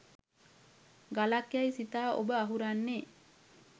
ගලක් යයි සිතා ඔබ අහුරන්නේ